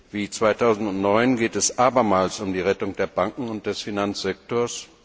Wie 2009 geht es abermals um die Rettung der Banken und des Finanzsektors.